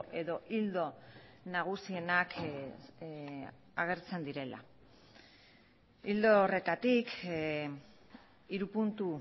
edo ildo nagusienak agertzen direla ildo horretatik hiru puntu